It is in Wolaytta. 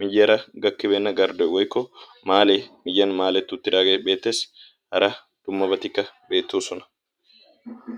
miyyara gakkibeenna garddoy woykko maalee miyyan maaleeti uttidaagee beettees hara dummabatikka beettoosona.